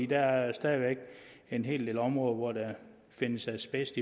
der er stadig væk en hel del områder hvor der findes asbest